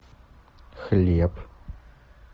хлеб